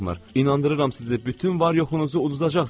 İnandırıram sizi, bütün var-yoxunuzu uduzacaqsınız.